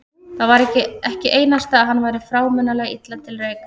Það var ekki einasta að hann væri frámunalega illa til reika.